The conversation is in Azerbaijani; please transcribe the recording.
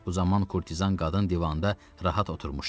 Bu zaman kurtizan qadın divanda rahat oturmuşdu.